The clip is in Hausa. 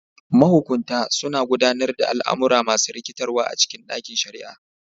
Mahukunta suna gudanar da al'amura masu rikitarwa a cikin ɗakin shari'a.